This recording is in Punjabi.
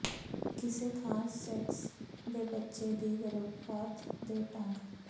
ਕਿਸੇ ਖਾਸ ਸੈਕਸ ਦੇ ਬੱਚੇ ਦੀ ਗਰਭਪਾਤ ਦੇ ਢੰਗ